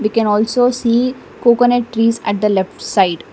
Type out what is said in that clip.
we can also see coconut trees at the left side.